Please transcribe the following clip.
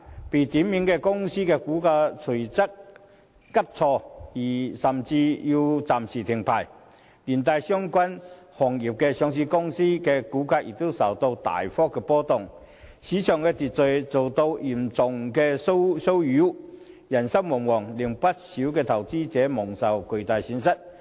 被點名的公司的股價隨即急挫而其股票交易甚至需暫停，連帶相關行業上市公司的股價亦大幅波動，市場秩序遭到嚴重擾亂，人心惶惶，令不少投資者蒙受巨大損失。